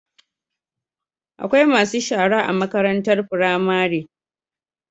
Akwai masu shara a makarantar pramari